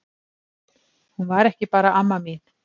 Hún var ekki bara amma mín.